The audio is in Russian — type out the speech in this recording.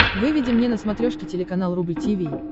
выведи мне на смотрешке телеканал рубль ти ви